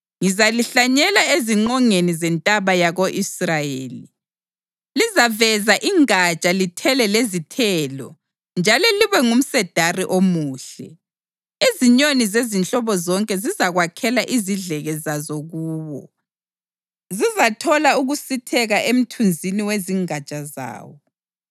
Ngizalihlanyela ezingqongeni zentaba yako-Israyeli; lizaveza ingatsha lithele lezithelo njalo libe ngumsedari omuhle. Izinyoni zezinhlobo zonke zizakwakhela izidleke zazo kuwo; zizathola ukusitheka emthunzini wezingatsha zawo.